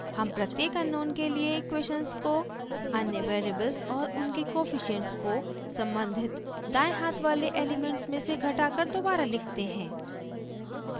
हम प्रत्येक अननोन के लिए इक्वेशन्स को अन्य वेरिएबल्स और उनके कोफिशिएंट्स को सम्बंधित दायें हाथ वाले एलिमेंट्स में से घटाकर दोबारा लिखते हैं